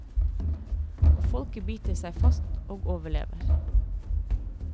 Og folket biter seg fast og overlever.